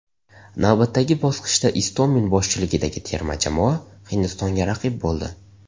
Navbatdagi bosqichda Istomin boshchiligidagi terma jamoa Hindistonga raqib bo‘ldi.